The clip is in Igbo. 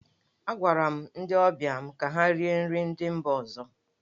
Agwara m ndị ọbịa mụ ka ha rie nri ndị mba ọzọ.